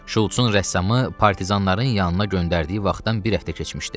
Şulc-un rəssamı partizanların yanına göndərdiyi vaxtdan bir həftə keçmişdi.